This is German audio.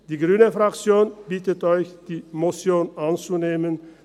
Die Fraktion Grüne bittet Sie, die Motion anzunehmen.